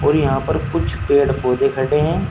और यहां पर कुछ पेड़ पौधे खड़े हैं।